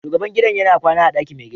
Shugaban gidan yana kwana a ɗakin mai gida.